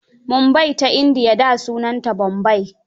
Mumbai Ta indiya, da sunanta Bombai.